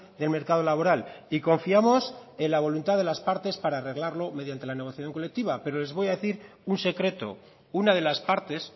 del mercado laboral y confiamos en la voluntad de las partes para arreglarlo mediante la negociación colectiva pero les voy a decir un secreto una de las partes